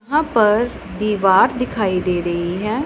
यहां पर दीवार दिखाई दे रही है।